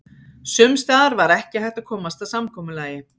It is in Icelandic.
Sums staðar var ekki hægt að komast að samkomulagi.